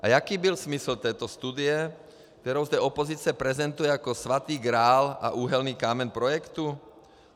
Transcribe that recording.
A jaký byl smysl této studie, kterou zde opozice prezentuje jako svatý grál a úhelný kámen projektu?